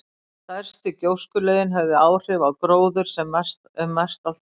Stærstu gjóskulögin höfðu áhrif á gróður um mestallt land.